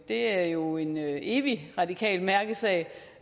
er jo en evig radikal mærkesag